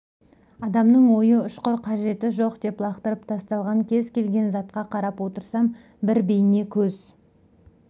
адамның ойы ұшқыр қажеті жоқ деп лақтырып тасталған кез келген затқа қарап отырсам бір бейне көз